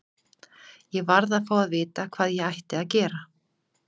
Ég varð að fá að vita hvað ég ætti að gera.